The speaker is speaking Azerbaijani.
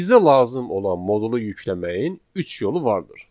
Bizə lazım olan modulu yükləməyin üç yolu vardır.